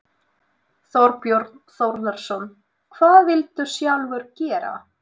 Þorbjörn Þórðarson: Hvað vilt þú sjálfur gera?